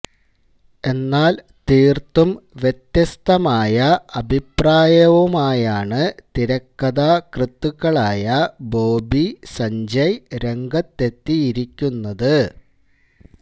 എന്നാല് തീര്ത്തും വ്യത്യസ്തമായ അഭിപ്രായവുമായാണ് തിരിക്കഥാകൃത്തുക്കളായ ബോബി സഞ്ജയ് രംഗത്തെത്തിയിരിക്കുന്നത്